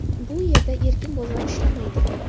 Bu yerda erkin bozor ishlamaydi.